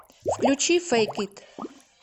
включи фэйк ит